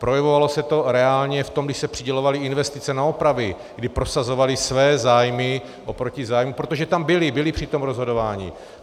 Projevovalo se to reálně v tom, když se přidělovaly investice na opravy, kdy prosazovali své zájmy oproti zájmům, protože tam byli, byli při tom rozhodování.